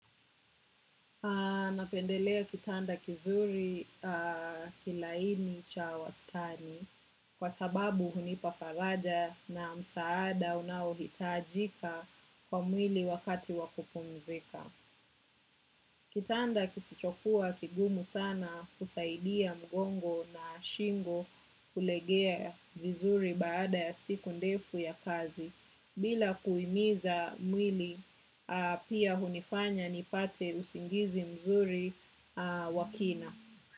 Napendelea kitanda kizuri kilaini cha wastani kwa sababu hunipa faraja na msaada unaohitajika kwa mwili wakati wakupumzika. Kitanda kisichokuwa kigumu sana husaidia mgongo na shingo kulegea vizuri baada ya siku ndefu ya kazi. Bila kuiumiza mwili, pia hunifanya nipate usingizi mzuri wa kina.